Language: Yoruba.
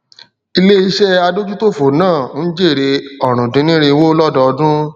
ilé iṣé adójútòfò náà n jèrè orundinniriwo lọdọọdún